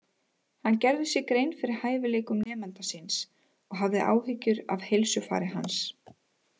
Hann gerði sér grein fyrir hæfileikum nemanda síns og hafði áhyggjur af heilsufari hans.